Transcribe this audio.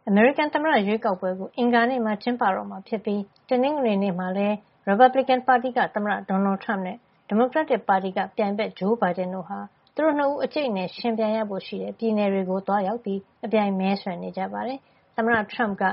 အမေရိကန် သမ္မတရွေးကောက်ပွဲ ကျင်းပတော့မှာဖြစ်လို့ ရီပတ်ဘလစ်ကန်ပါတီက သမ္မတ Donald Trump နဲ့ ဒီမိုကရက်တစ်ပါတီ သမ္မတလောင်း Joe Biden တို့ အကြိတ်အနယ် ယှဉ်ပြိုင်ရဖို့ရှိတဲ့ ပြည်နယ်တွေမှာ အပြိုင် မဲဆွယ်နေကြပါတယ်။ သမ္မတ Trump က